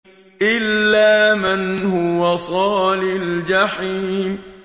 إِلَّا مَنْ هُوَ صَالِ الْجَحِيمِ